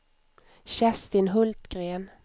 Kerstin Hultgren